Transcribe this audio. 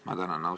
Ma tänan!